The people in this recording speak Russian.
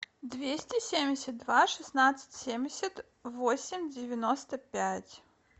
двести семьдесят два шестнадцать семьдесят восемь девяносто пять